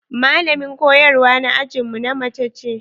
Malamin koyarwa na ajin mu na mace ce.